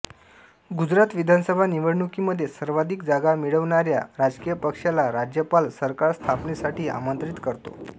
गुजरात विधानसभा निवडणुकीमध्ये सर्वाधिक जागा मिळवणाऱ्या राजकीय पक्षाला राज्यपाल सरकारस्थापनेसाठी आमंत्रित करतो